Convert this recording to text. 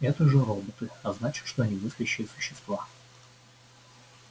это же роботы а значит что они мыслящие существа